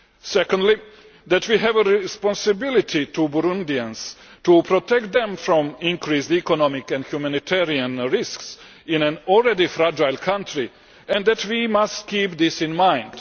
Secondly, that we have a responsibility to Burundians to protect them from increased economic and humanitarian risks in an already fragile country, and that we must keep this in mind.